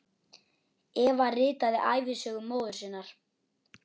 Eva ritaði ævisögu móður sinnar.